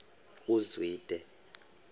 uzwide